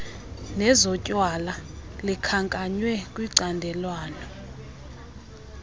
nezotywala likhankanywe kwicandelwana